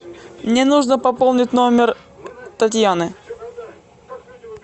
мне нужно пополнить номер татьяны